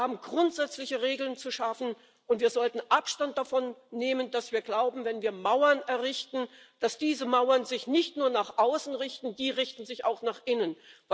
Wir haben grundsätzliche Regeln zu schaffen, und wir sollten Abstand davon nehmen, dass wir glauben, wenn wir Mauern errichten, dann richten sich diese Mauern nur nach außen die richten sich auch nach innen.